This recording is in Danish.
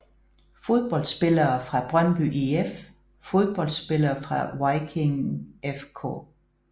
Fodboldspillere fra Brøndby IF Fodboldspillere fra Viking FK